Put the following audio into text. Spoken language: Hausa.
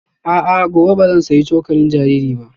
A'a, gobe ba zan sayi cokalin jariri ba